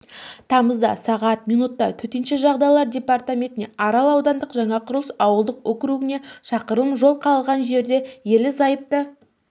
тамызда сағат минутта төтенше жағдайлар департаментіне арал ауданы жаңақұрылыс ауылдық округіне шақырым жол қалған жерде ерлі-зайыпты